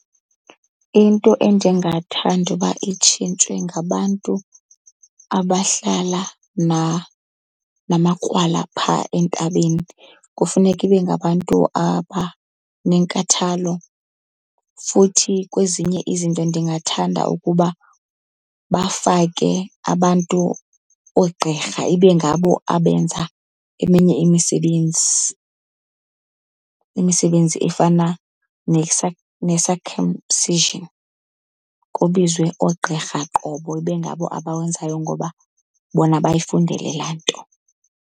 Into endingathanda uba itshintshwe ngabantu abahlala namakrwala phaa entabeni, kufuneka ibe ngabantu abanenkathalo. Futhi kwezinye izinto ndingathanda ukuba bafake abantu, oogqirha ibe ngabo abenza eminye imisebenzi, imisebenzi efana ne-circumcision. Kubizwe oogqirha qobo ibe ngabo abawenzayo ngoba bona bayifundele laa nto.